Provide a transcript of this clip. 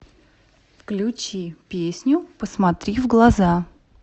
включи песню посмотри в глаза